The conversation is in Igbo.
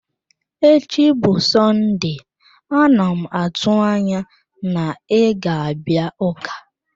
Echi bụ Sọnde, a na m atụ anya na ị ga-abịa ụka.